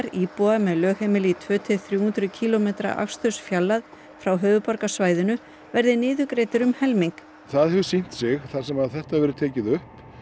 íbúa með lögheimili í tvö til þrjú hundruð kílómetra akstursfjarlægð frá höfuðborgarsvæðinu verði niðurgreiddir um helming það hefur sýnt sig þar sem þetta hefur verið tekið upp